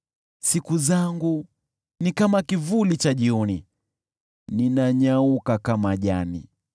Siku zangu ni kama kivuli cha jioni, ninanyauka kama jani.